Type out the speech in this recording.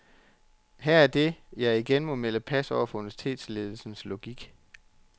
Her er det, jeg igen må melde pas over for universitetsledelsens logik.